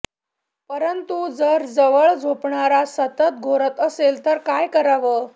परंतु जर जवळ झोपणारा सतत घोरत असेल तर काय करावं